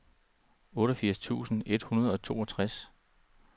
otteogfirs tusind et hundrede og toogtres